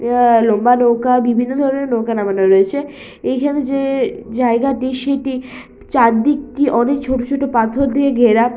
আ- লম্বা নৌকা বিভিন্ন ধরনের নৌকা নামানো রয়েছে এইখানে যেই জায়গাটি সেইটি চারদিক থেকে অনেক ছোট ছোট পাথর দিয়ে ঘেরা--